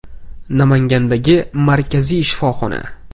Namangandagi markaziy shifoxona.